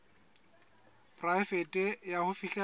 e poraefete ya ho fihlella